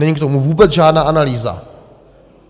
Není k tomu vůbec žádná analýza.